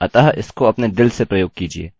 और यह php में बहुत ज़रूरी चीज़ है